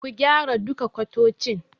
Ku gyara duka kwatocin.